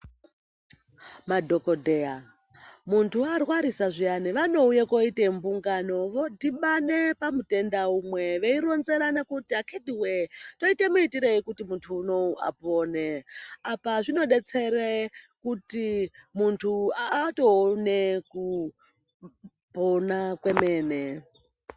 Madhokodheya muntu warwarisa zviyani vanouye koite mbungano vodhibane pamutenda umwe, veironzerane kuti akitiwee toite muitirei kuti muntu unowu apone. Apa zvinodetsere kuti muntu atoone kupona kwemene.